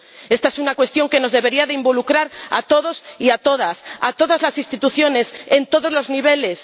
Esta es una cuestión que nos debería involucrar a todos y a todas, a todas las instituciones, en todos los niveles.